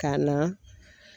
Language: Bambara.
Ka na